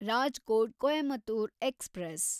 Rajkot Coimbatore express